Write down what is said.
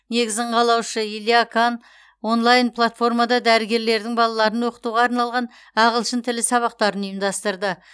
негізін қалаушы илья кан онлайн платформада дәрігерлердің балаларын оқытуға арналған ағылшын тілі сабақтарын ұйымдастырды